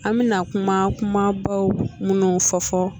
An be na kuma kumabaw munnou fɔ fɔ